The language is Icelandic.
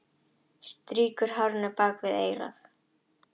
Strýkur hárinu bak við eyrað.